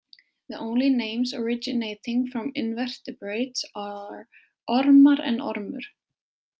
The only names originating from invertebrates are Ormar and Ormur.